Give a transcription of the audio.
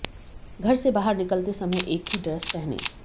घर से बाहर निकलते समय एक ही ड्रेस पहनें